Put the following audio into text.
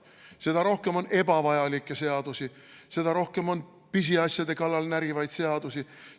Seda rohkem on ebavajalikke seadusi, seda rohkem on pisiasjade kallal närivaid seadusi.